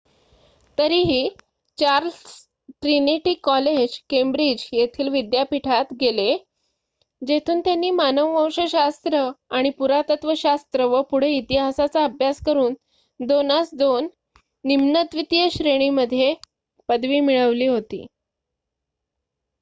तरीही Charles Trinity college Cambridge येथील विद्यापीठात गेले जेथून त्यांनी मानववंश शास्त्र आणि पुरातत्वशास्त्र व पुढे इतिहासाचा अभ्यास करून २:२ निम्न द्वितीय श्रेणीमध्ये पदवी मिळवली होती